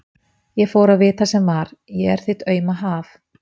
Ég fór að vita sem var: ég er þitt auma haf.